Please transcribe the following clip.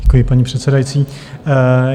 Děkuji, paní předsedající.